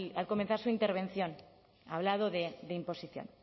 al comenzar su intervención ha hablado de imposición